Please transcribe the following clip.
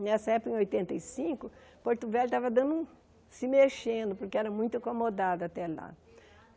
Nessa época, em oitenta e cinco, Porto Velho estava dando um se mexendo, porque era muito acomodado até lá.